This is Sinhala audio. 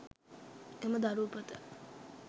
එම දරු උපත